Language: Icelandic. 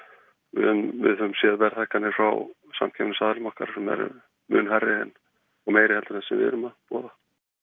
við höfum séð verðhækkanir hjá samkeppnisaðilum okkar sem eru mun hærri og meiri en sú sem við erum að boða